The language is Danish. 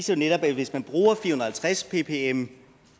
netop at hvis man bruger fire og halvtreds ppm